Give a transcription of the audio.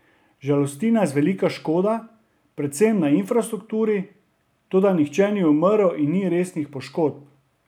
Žalosti nas velika škoda, predvsem na infrastrukturi, toda nihče ni umrl in ni resnih poškodb.